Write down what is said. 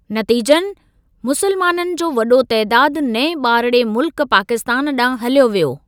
नतीज़नि मुसलमाननि जो वॾो तइदादु नएं ॿारड़े मुल्कु पाकिस्तानु ॾांहुं हलियो वियो।